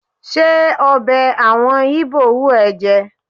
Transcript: Ṣé ọbẹ̀ àwọn Íbò wù ẹ́ jẹ?